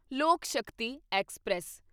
ਲੋਕ ਸ਼ਕਤੀ ਐਕਸਪ੍ਰੈਸ